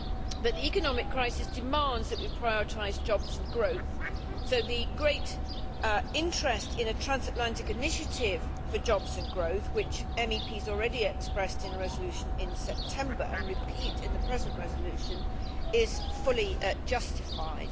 But the economic crisis demands that we prioritise jobs and growth, so the great interest in a transatlantic initiative for jobs and growth, which MEPs expressed already in a resolution in September and repeat in the present resolution, is fully justified.